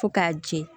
Fo k'a jɛ